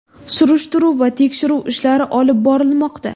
Surishtiruv va tekshiruv ishlari olib borilmoqda.